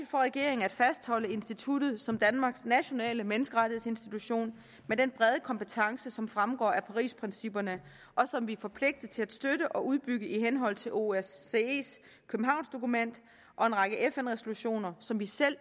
for regeringen at fastholde instituttet som danmarks nationale menneskerettighedsinstitution med den brede kompetence som fremgår af parisprincipperne som vi er forpligtet til at støtte og udbygge i henhold til osces københavnsdokument og en række fn resolutioner som vi selv